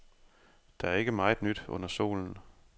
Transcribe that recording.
Der er ikke meget nyt under solen.